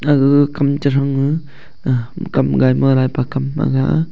gaga kam tethang ley a kam gai ma lai pe kam ma ga.